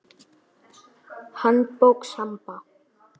Handbók Samba.